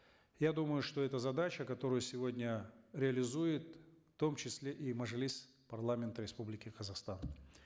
я думаю что эта задача которую сегодня реализует в том числе и мажилис парламента республики казахстан